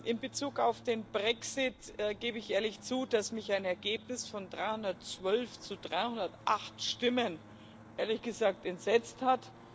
In Bezug auf den Brexit gebe ich ehrlich zu, dass mich ein Ergebnis von 312 zu 308 Stimmen entsetzt hat.